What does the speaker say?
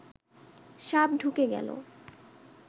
সাপ ঢুকে গেল